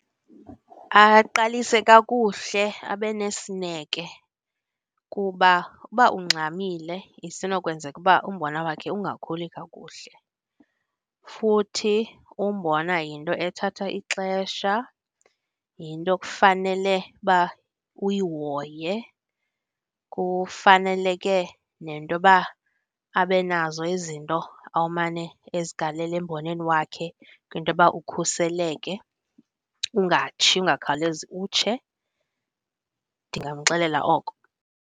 Aqalise kakuhle abe nesineke kuba uba ungxamile isenokwenzeka uba umbona wakhe ungakhuli kakuhle. Futhi umbona yinto ethatha ixesha, yinto ekufanele uba uyihoye, kufaneleke nentoba abe nazo izinto amane ezigalela emboneni wakhe kwintoba ukhuseleke, ungatshi, ungakhawulezi utshe. Ndingamxelela oko.